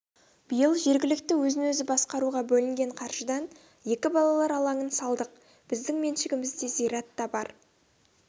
биыл жергілікті өзін-өзі басқаруға бөлінген қаражыдан екі балалар алаңын салдық біздің меншігімізде зират та бар